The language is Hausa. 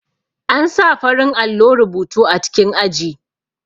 An sa farin allo rubutu a cikin aji